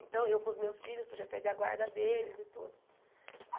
Então, eu com os meus filhos, podia perder a guarda deles e tudo.